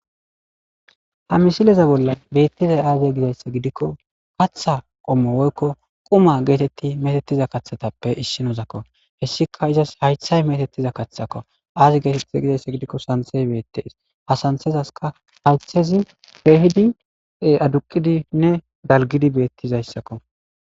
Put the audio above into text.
Ha misileza bollan betizay azee gizaysa gidikon, katha qommo woyko quma geteti metetiza kathatappe issinozako. Hessika izas haythay metetiza kathako. Azi getetize gizaysa gidikon santhey beetes. Ha santhezasika haythezi keehidi aduqidinne dalgidi betizaysako